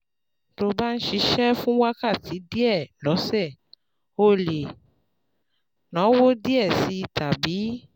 Tó o bá ń ṣiṣẹ́ fún wákàtí díẹ̀ lọ́sẹ̀, o lè náwó díẹ̀ sí i tàbí